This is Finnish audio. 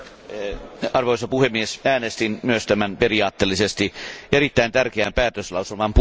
Arvoisa puhemies, äänestin myös tämän periaatteellisesti erittäin tärkeän päätöslauselman puolesta.